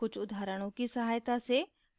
कुछ उदाहरणों की सहायता से